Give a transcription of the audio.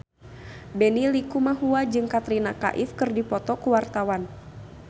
Benny Likumahua jeung Katrina Kaif keur dipoto ku wartawan